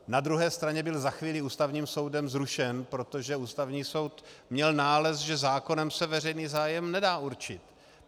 Na druhé straně byl za chvíli Ústavním soudem zrušen, protože Ústavní soud měl nález, že zákonem se veřejný zájem nedá určit.